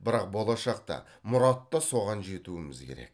бірақ болашақта мұратта соған жетуіміз керек